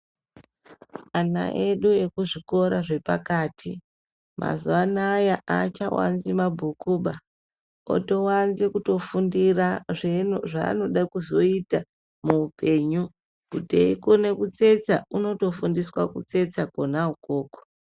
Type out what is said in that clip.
Ana edu ekuzvikora zvepakati, mazuvaanaya achawanzi mabhukuba, otowanza kutofundira zvinhu zvaanoda kuzoyita muupenyu, kuti eyikona kutsetsa, unoto fundiswa kutsetsa kona ukoko.